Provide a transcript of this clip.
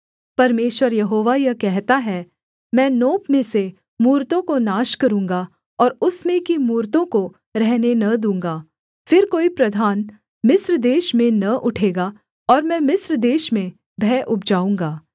परमेश्वर यहोवा यह कहता है मैं नोप में से मूरतों को नाश करूँगा और उसमें की मूरतों को रहने न दूँगा फिर कोई प्रधान मिस्र देश में न उठेगा और मैं मिस्र देश में भय उपजाऊँगा